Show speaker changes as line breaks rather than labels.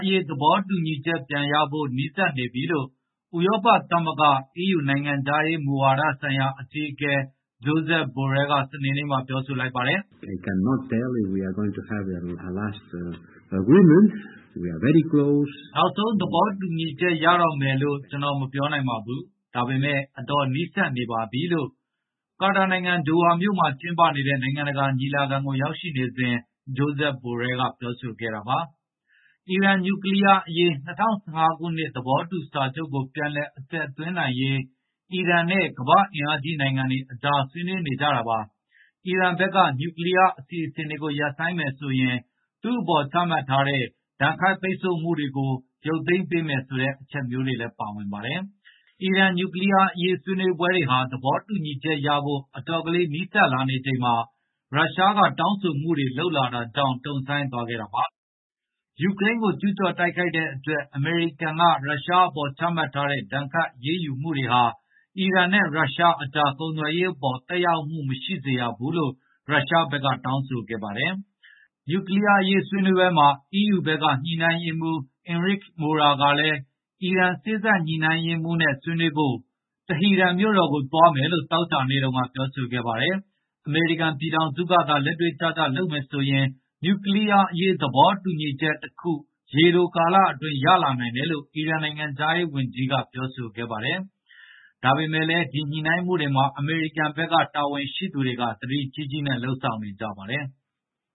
အရေး သဘောတူညီချက်ပြန်ရဖို့ နီးစပ်နေပြီလို့ ဥရောပသမဂ္ဂ (EU) နိုင်ငံခြားရေးမူဝါဒဆိုင်ရာ အကြီးအကဲ Josep Borrell က စနေနေ့မှာ ပြောလိုက်ပါတယ်
။ “နောက်ဆ
ုံးသဘောတူညီချက် ရတော့မယ်လို့တော့ ကျနော်မပြောနိုင်ပါဘူး။ ဒါပေမယ့် အတော်နီးစပ်နေပါပြီ။” လို့ ကာတာနိုင်ငံ ဒိုဟာမြို့မှာ ကျင်းပနေတဲ့ နိုင်ငံတကာ ညီလာခံကို ရောက်ရှိနေစဉ် Josep Borrell ပြောဆိုခဲ့တာပါ။ အီရန် နျူကလီးယားအရေး ၂၀၁၅ ခုနှစ် သဘောတူစာချုပ်ကို ပြန်အသက်သွင်းရေး အီရန်နဲ့ ကမ္ဘာ့အင်အားကြီး နိုင်ငံတွေကြား ဆွေးနွေးနေကြတာပါ။ အီရန်ဘက်က နျူကလီးယား အစီအစဉ်တွေကို ရပ်ဆိုင်းမယ်ဆိုရင် သူ့အပေါ် ချမှတ်ထားတဲ့ ဒဏ်ခတ်ပိတ်ဆို့မှုတွေကို ရုပ်သိမ်းပေးမယ်ဆိုတဲ့ အချက်မျိုးတွေ ပါဝင်ပါတယ်။ အီရန် နျူကလီးယားအရေး ဆွေးနွေးပွဲတွေဟာ သဘောတူညီချက်ရဖို့ အတော်လေး နီးစပ်လာချိန်မှာ ရုရှားက တောင်းဆိုမှုတွေ လုပ်ခဲ့တာကြောင့် တုံ့ဆိုင်းသွားခဲ့တာပါ။ ယူကရိန်းကို ကျူးကျော်တိုက်ခိုက်တဲ့အတွက် အမေရိကန်က ရုရှားပေါ် ချမှတ်ထားတဲ့ ဒဏ်ခတ်အရေးယူမှုတွေဟာ အီရန်နဲ့ ရုရှားကြား ကုန်သွယ်ရေးအပေါ် သက်ရောက်မှု မရှိစေရဘူးလို့ ရုရှားဘက်က တောင်းဆိုခဲ့တာ ဖြစ်ပါတယ်။ နျူကလီးယားအရေး ဆွေးနွေးပွဲမှာ EU ဘက်က လုပ်ငန်းညှိနှိုင်းရေးမှူး Enrique Mora ကလည်း အီရန် စေ့စပ်ညှိနှိုင်းရေးမှူးချုပ်နဲ့ ဆွေးနွေးဖို့ တီဟီရန်မြို့တော်ကို သွားမယ်လို့ သောကြာနေ့က ပြောခဲ့ပါတယ်။ အမေရိကန်ပြည်ထောင်စုကသာ လက်တွေ့ကျကျ လုပ်မယ်ဆိုရင် နျူကလီးယားအရေး သဘောတူညီချက်တခု ရေတိုကာလအတွင်း ရလာနိုင်တယ်လို့ အီရန် နိုင်ငံခြားရေးဝန်ကြီး Hossein Amirabdollahian က ဒီသီတင်းပတ်အတွင်း ပြောခဲ့ပါတယ်။ ဒါပေမယ့်လည်း ဒီညှိနှိုင်းဆွေးနွေးမှုမှာ အမေရိကန် တာဝန်ရှိသူတွေက သတိကြီးကြီးနဲ့ လုပ်ဆောင်နေကြပါတယ်။